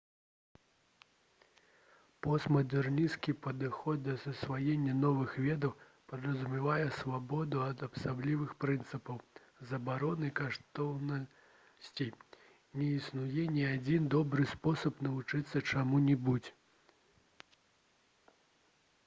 постмадэрнісцкі падыход да засваення новых ведаў падразумявае свабоду ад абсалютных прынцыпаў забарон і каштоўнасцей не існуе ні адзін добры спосаб навучыцца чаму-небудзь